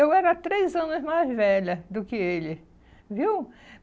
Eu era três anos mais velha do que ele, viu?